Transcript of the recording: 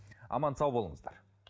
аман сау болыңыздар